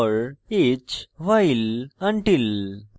for each while until